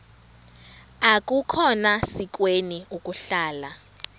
akukhona sikweni ukuhlala